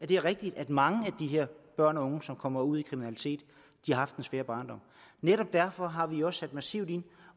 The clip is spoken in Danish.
det er rigtigt at mange af de her børn og unge som kommer ud i kriminalitet har haft en svær barndom netop derfor har vi også sat massivt ind